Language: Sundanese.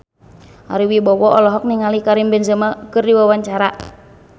Ari Wibowo olohok ningali Karim Benzema keur diwawancara